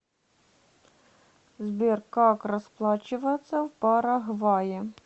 сбер как расплачиваться в парагвае